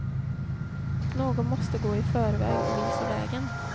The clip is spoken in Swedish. Någon måste gå i förväg och visa vägen.